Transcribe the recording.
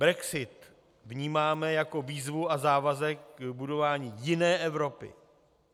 Brexit vnímáme jako výzvu a závazek k budování jiné Evropy.